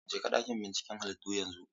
Jeka ɗakin binciken halittu yanzu!